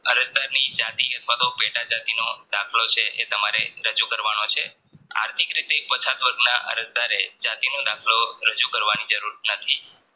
અરજ દારની જતી અથવા તો પેટ જાતિનો દાખલો છે એ દાખલો તમારે રજૂ કરવાનો છે આર્થિક રીતે પછાત વર્ગના અરજદારે જાતિનો દાખલો રજુ કરવાની જરૂર નથી